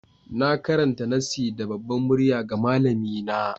Na karanta nassin da babbar murya ga malamina.